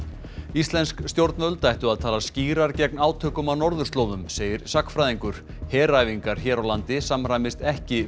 íslensk stjórnvöld ættu að tala skýrar gegn átökum á norðurslóðum segir sagnfræðingur heræfingar hér á landi samræmist ekki